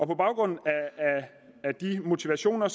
på baggrund af disse motivationer